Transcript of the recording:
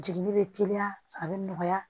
Jigini bɛ teliya a bɛ nɔgɔya